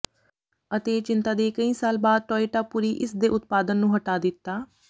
ਅਤੇ ਚਿੰਤਾ ਦੇ ਕਈ ਸਾਲ ਬਾਅਦ ਟੋਇਟਾ ਪੂਰੀ ਇਸ ਦੇ ਉਤਪਾਦਨ ਨੂੰ ਹਟਾ ਦਿੱਤਾ